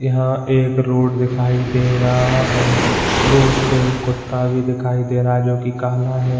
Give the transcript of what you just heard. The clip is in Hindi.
यहाँ एक रोड दिखाई दे रहा है रोड पे कुत्ता भी दिखाई दे रहा है जो कि काला है।